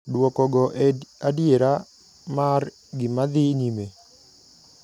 Duoko go e adiera mar gimadhi nyime.